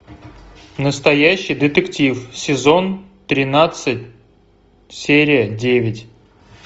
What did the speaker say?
настоящий детектив сезон тринадцать серия девять